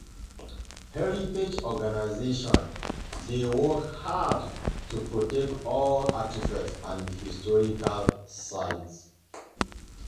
Heritage organizations dey work hard to protect old artifacts and historical sites.